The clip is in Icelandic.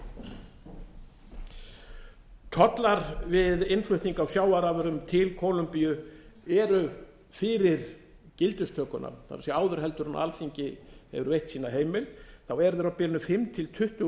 aðlögunar tollar við innflutning á sjávarafurðum til kólumbíu eru fyrir gildistökuna það er áður en alþingi hefur veitt sína heimild á bilinu fimm til tuttugu